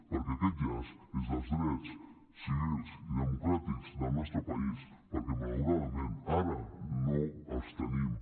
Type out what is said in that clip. perquè aquest llaç és dels drets civils i democràtics del nostre país perquè malauradament ara no els tenim